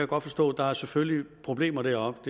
godt forstå der selvfølgelig er problemer deroppe